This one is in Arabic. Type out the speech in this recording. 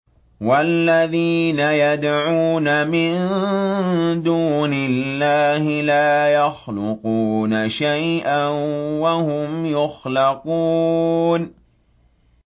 وَالَّذِينَ يَدْعُونَ مِن دُونِ اللَّهِ لَا يَخْلُقُونَ شَيْئًا وَهُمْ يُخْلَقُونَ